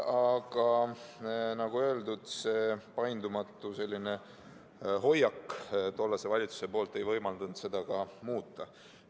Aga nagu öeldud, tollase valitsuse paindumatu hoiak ei võimaldanud seda ka muuta.